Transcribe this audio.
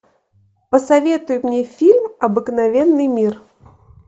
посоветуй мне фильм обыкновенный мир